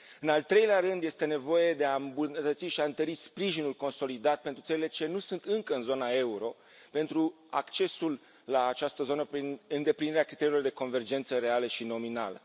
În al treilea rând, este nevoie de a îmbunătăți și a întări sprijinul consolidat pentru țările ce nu sunt încă în zona euro, pentru accesul la această zonă prin îndeplinirea criteriilor de convergență reală și nominală.